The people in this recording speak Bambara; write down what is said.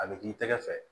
A bɛ k'i tɛgɛ fɛ